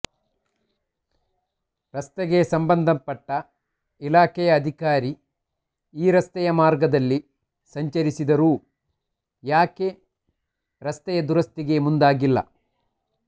ರಸ್ತೆಗೆ ಸಂಬಂಧಪಟ್ಟ ಇಲಾಖೆಯ ಅಧಿಕಾರಿ ಈ ರಸ್ತೆಯ ಮಾರ್ಗದಲ್ಲಿ ಸಂಚರಿಸಿದರೂ ಯಾಕೆ ರಸ್ತೆಯ ದುರಸ್ತಿಗೆ ಮುಂದಾಗಿಲ್ಲ